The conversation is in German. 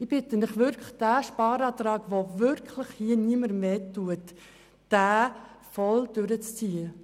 Ich bitte Sie, diesen Sparantrag, der wirklich niemandem wehtut, voll durchzuziehen.